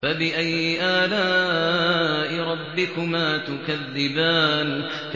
فَبِأَيِّ آلَاءِ رَبِّكُمَا تُكَذِّبَانِ